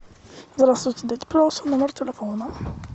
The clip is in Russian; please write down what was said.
здравствуйте дайте пожалуйста номер телефона